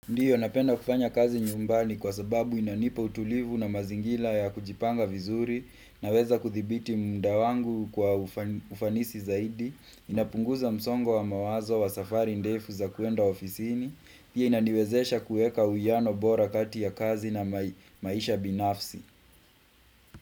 Ndiyo napenda kupanya kazi nyumbani kwa sababu inanipa utulivu na mazingira ya kujipanga vizuri, na weza kudhibiti muda wangu kwa ufanisi zaidi inapunguza msongo wa mawazo wa safari ndefu za kuenda ofisini pia inaniwezesha kuweka uwiano bora kati ya kazi na maisha binafsi.